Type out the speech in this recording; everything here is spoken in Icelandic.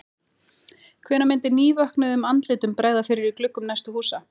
Hvenær myndi nývöknuðum andlitum bregða fyrir í gluggum næstu húsa?